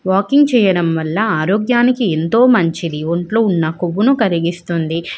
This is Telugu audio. వాకింగ్ చేయడం వాల ఆరోగ్యానికి ఎంతో మంచిది ఒంట్లో వున్నా కోవును కరిగిస్తుంది.